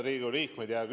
Head Riigikogu liikmed!